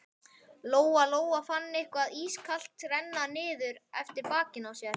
Lóa Lóa fann eitthvað ískalt renna niður eftir bakinu á sér.